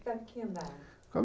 Ficava em que andar? Fica